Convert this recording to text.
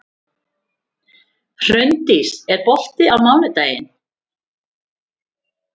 Hraundís, er bolti á mánudaginn?